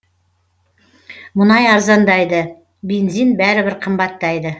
мұнай арзандайды бензин бәрібір қымбаттайды